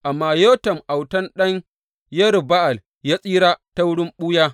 Amma Yotam, autan ɗan Yerub Ba’al ya tsira ta wurin ɓuya.